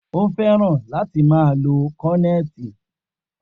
O fẹ́ràn láti máa lo kọnẹti